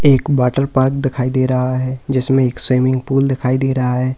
एक water park दिखाई दे रहा है जिसमें एक स्विमिंग पूल दिखाई दे रहा है।